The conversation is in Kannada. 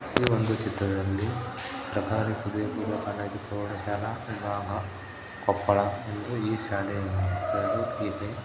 ಈ ಒಂದು ಚಿತ್ರದಲ್ಲಿ ಸರ್ಕಾರಿ ಪದವಿ ಪೂರ್ವ ಕಾಲೇಜು ಪ್ರೌಢಶಾಲಾ ವಿಭಾಗ ಕೊಪ್ಪಳ ಎಂದು ಈ ಶಾಲೆಯ ಹೆಸರು ಇದೆ.